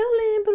Eu lembro.